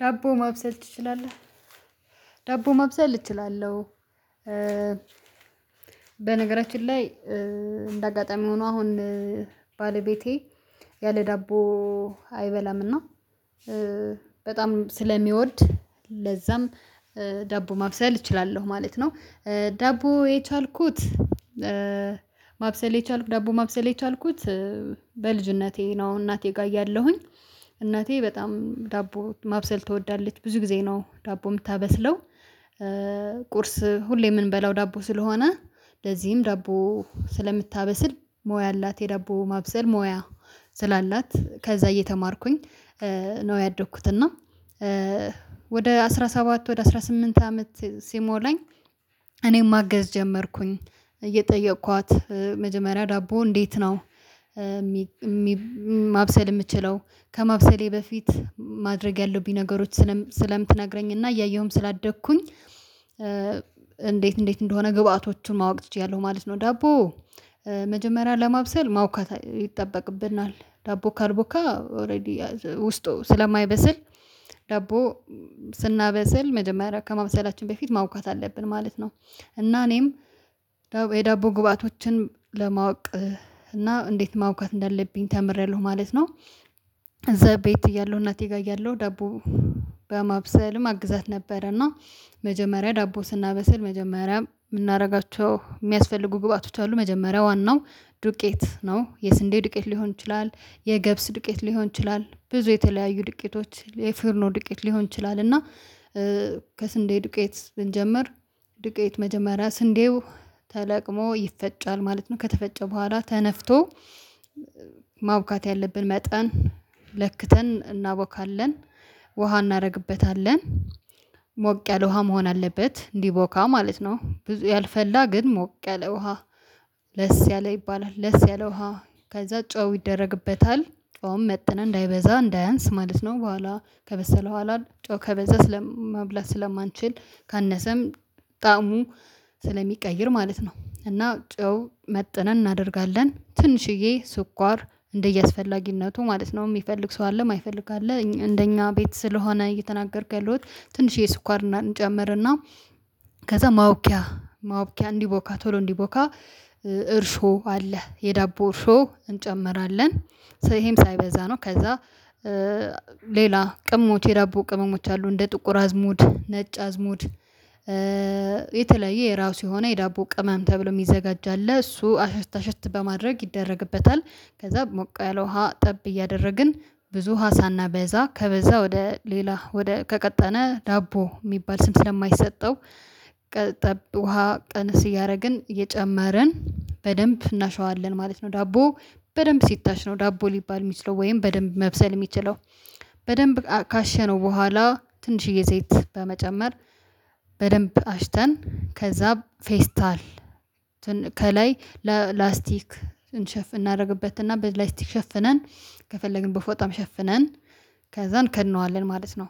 ዳቦ ማብሰል እችላለሁ። በነገራችን ላይ እንደ አጋጣሚ ሆኖ አሁን ባለቤቴ ያለ ዳቦ አይበላምና በጣም ስለሚወድ ለዛም ዳቦ ማብሰል እችላለሁ ማለት ነው። ዳቦ የቻልኩት ማብሰል የቻልኩ ዳቦ ማብሰል የቻልኩት በልጅነቴ ነው እናቴ ጋር እያለሁኝ እናቴ በጣም ዳቦ ማብሰል ትወዳለች ብዙ ጊዜ ነው ዳቦ የምታበስለው። ቁርስ ሁሌ የምንበላው ዳቦ ስለሆነ ለዚህም ዳቦ ስለምታበስል ሞያ አላት የዳቦ ማብሰል ሞያ ስላላት ከዛ እየተማርኩኝ ነው ያደኩት። እና ወደ አስራ ሰባት ወደ አስራ ስምንት አመት ሲሞላኝ እኔም ማገዝ ጀመርኩኝ እየጠየኳት መጀመሪያ ዳቦ እንዴት ነው? ማብሰል የምችለው ከማብሰሌ በፊት ማድረግ ያለብኝ ነገሮች ስለምትነግረኝ እና እያየሁም ስላደግኩኝ እንዴት እንዴት እንደሆነ ግብአቶቹን ማወቅ ትችያለሁ ማለት ነው። ዳቦ መጀመሪያ ለማብሰል ማቡካት ይጠበቅብናል ዳቦ ካርቡካ ኦሬዲ ውስጡ ስለማይበስል ዳቦ ስናበስል መጀመሪያ ከማብሰላችን በፊት ማቡካት አለብን ማለት ነው። እና እኔም የዳቦ ግባቶችን ለማወቅ እና እንዴት ማወቅ እንዳለብኝ ተምሬያለሁ ማለት ነው። እዛ ቤት እያለሁ እናቴ ጋር እያለሁ ዳቦ በማብሰልም አግዛት ነበረ። እና መጀመሪያ ዳቦ ስናበስል መጀመሪያም የምናደርጋቸው የሚያስፈልጉ ግብአቶች አሉ መጀመሪያ ዋናው ዱቄት ነው የስንዴ ዱቄት ሊሆን ይችላል። የገብስ ዱቄት ሊሆን ይችላል ብዙ የተለያዩ ድቄቶች የፈርኖ ድቄት ሊሆን ይችላል እና ከስንዴ ድቄት ብንጀምር ዱቄት መጀመሪያ ስንዴው ተለቅሞ ይፈጫል ማለት ነው። ከተፈጨ በኋላ ተነፍቶ ማቡካት ያለብን መጠን ለክተን እናቦካለን ውሃ እናደርግበታለን ሞቅ ያለ ውሃ መሆን አለበት እንዲቦካ ማለት ነው። ብዙ ያልፈላ ግን ሞቅ ያለ ውሃ ለስ ያለ ይባላል ለስ ያለ ውሃ ከዛ ጨው ይደረግበታል ጨውም መጥነን እንዳይበዛ እንዳያንስ ማለት ነው። በኋላ ከበሰለ በኋላ ጨው ከበዛ ስለማብላት ስለማንችል ካነሰም ጣዕሙ ስለሚቀይር ማለት ነው እና ጨው መጥነን እናደርጋለን ትንሽዬ ስኳር እንደየአስፈላጊነቱ ማለት ነው። የሚፈልግ ሰው አለ የማይፈልግ አለ እንደኛ ቤት ስለሆነ እየተናገርኩ ያለሁት ትንሽ የስኳር እና እንጨምርና ከዛ ማቡኪያ ማቡኪያ እንዲቦካ ቶሎ እንዲቦካ እርሾ አለ የዳቦ እርሾ እንጨምራለን ሰ ይሄም ሳይበዛ ነው። ከዛ ሌላ ቅመሞች የዳብ ቅመሞች አሉ እንደ ጥቁር አዝሙድ ነጭ አዝሙድ የተለያየ የራሱ የሆነ የዳቦ ቅመም ተብሎ የሚዘጋጅ አለ እሱ አሸት አሸት በማድረግ ይደረግበታል። ከዛ ሞቀ ያለ ውሃ ጠብ እያደረግን ብዙ ውሃ ሳናበዛ ከበዛ ወደ ሌላ ወደ ከቀጠነ ዳቦ የሚባል ስም ስለማይሰጠው ውሃ ቀንስ እያደረግን እየጨመረን በደንብ እናሸዋለን ማለት ነው። ዳቦ በደንብ ሲታሽ ነው ዳቦ ሊባል የሚችለው ወይም በደንብ መብሰል የሚችለው በደንብ ካሸነው በኋላ ትንሽዬ ዘይት በመጨመር አሽተን ከዛ ፌስታል ከላይ ለላስቲክ እንሸፍ እናደርግበትና በላይስቲክ ሸፍነን ከፈለግን በፎጣም ሸፍነን ከዛ እንከድነዋለን ማለት ነው።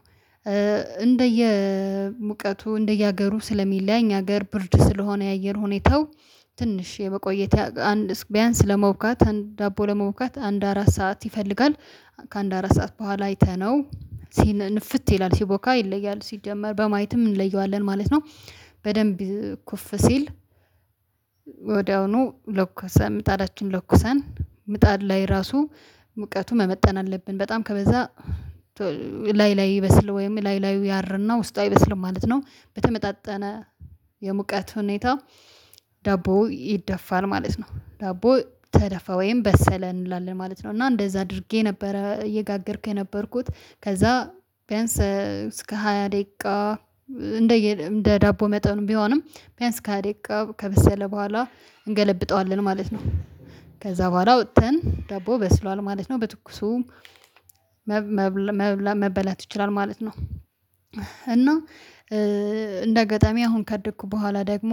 እንደየሙቀቱ እንደየሀገሩ ስለሚለያይ እኛ ሀገር ብርድ ስለሆነ የአየር ሁኔታው ትንሽ የመቆየት ቢያንስ ለመቡካት ዳቦ ለመቡካጋት አንድ አራት ሰዓት ይፈልጋል ከአንድ አራት ሰዓት በኋላ አይተነው ሲን ንፍት ይላል ሲቦካ ይለያል ሲጀመር በማየትም እንለየዋለን ማለት ነው። በደንብ ኩፍ ሲል ወዲያውኑ ለኩሰን ምጣዳችን ለኩሰን ምጣድ ላይ ራሱ ሙቀቱ መመጠን አለብን በጣም ከበዛ ላይ ላይ ይበስል ወይም ላይ ላዩ ያርና ውስጡ አይበስልም ማለት ነው። በተመጣጠነ የሙቀት ሁኔታ ዳቦው ይደፋል ማለት ነው ዳቦ ተደፋ ወይም በሰለ እንላለን ማለት ነው። እና እንደዛ አድርጌ ነበረ እየጋገርኩኝ የነበርኩት ከዛ ቢያንስ እስከ ሃያ ደቂቃ እንደ እንደ ዳቦ መጠኑ ቢሆንም ቢያንስ ካህዴቃ ከበሰለ በኋላ እንገለብጠዋለን ማለት ነው። ከዛ በኋላ ወጥተን ዳቦው በስሏል ማለት ነው በትኩሱም መበላት ይችላል ማለት ነው። እና እንደ አጋጣሚ አሁን ካደግሁ በኋላ ደግሞ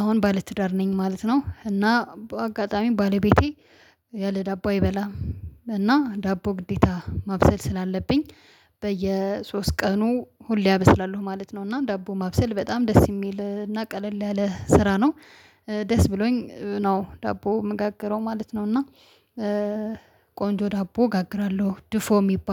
አሁን ባለትዳር ነኝ ማለት ነው። እና በአጋጣሚ ባለቤቴ ያለ ዳቦ አይበላም ዳቦ ግዴታ ማብሰል ስላለብኝ በየሶስት ቀኑ ሁሌ አበስላለሁ ማለት ነው። እና ዳቦ ማብሰል በጣም ደስ የሚል እና ቀለል ያለ ስራ ነው። ደስ ብሎኝ ነው ዳቦ የምጋግረው ማለት ነው። እና ቆንጆ ዳቦ እጋግራለሁ ድፎ የሚባል